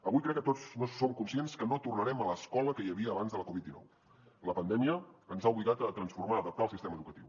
avui crec que tots som conscients que no tornarem a l’escola que hi havia abans de la covid dinou la pandèmia ens ha obligat a transformar adaptar el sistema educatiu